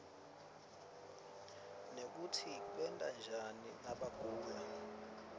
nekutsi benta njani nabagula